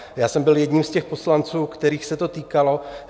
Já jsem byl jedním z těch poslanců, kterých se to týkalo.